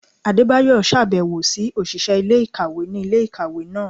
Adébáyọ ṣabẹwo si oṣiṣẹ ilé-ikáwe ni ilé-ikáwe náá